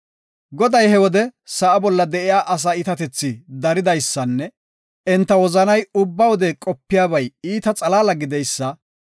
Goday he wode sa7a bolla de7iya asa iitatethi daridaysanne enta wozanay ubba wode qopiyabay iita xalaala gididaysa